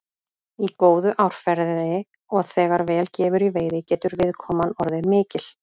Í góðu árferði og þegar vel gefur í veiði getur viðkoman orðið mikil.